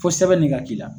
Fo sɛbɛn de ka k'i la